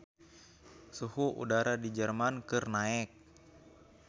Suhu udara di Jerman keur naek